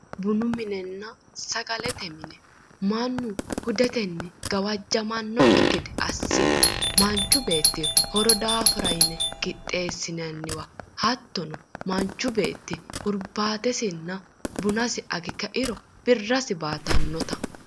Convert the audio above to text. Bunu minenna sagalete mine mannu hudetenni gawajjamannokki gede assine manchu beetti horo daafira yine qixxeessinanniwa hattono hattono manchu beetti hurbaatesinna buna age kairo birrasi baatannota.